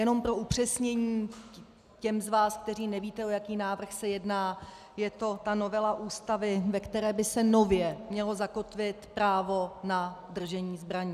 Jenom pro upřesnění těm z vás, kteří nevíte, o jaký návrh se jedná: je to ta novela Ústavy, ve které by se nově mělo zakotvit právo na držení zbraní.